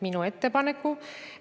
Aitäh täpsustava küsimuse eest!